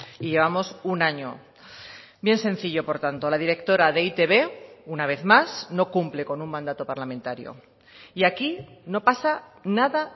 y llevamos un año bien sencillo por tanto la directora de e i te be una vez más no cumple con un mandato parlamentario y aquí no pasa nada